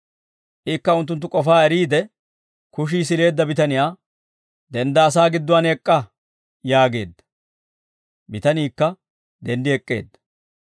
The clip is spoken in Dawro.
Ikka unttunttu k'ofaa eriide kushii sileedda bitaniyaa, «Dendda asaa gidduwaan ek'k'a» yaageedda. Bitaniikka denddi ek'k'eedda.